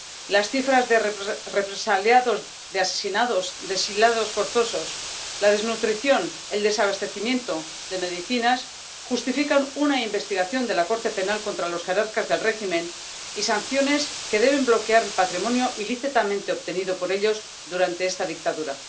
Las cifras de represaliados, de asesinados, de exiliados forzosos, la desnutrición, el desabastecimiento de medicinas justifican una investigación de la Corte Penal contra los jerarcas del régimen y sanciones que deben bloquear el patrimonio ilícitamente obtenido por ellos durante esta dictadura.